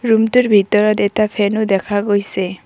ৰুমটোৰ ভিতৰত এটা ফেনও দেখা পোৱা গৈছে।